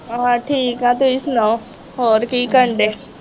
ਹਾਂ ਠੀਕ ਹੈ ਤੁਸੀਂ ਸੁਣਾਉ ਹੋਰ ਕੀ ਕਰਨ ਡੇ